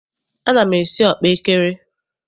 Ana m esi ọkpaekere.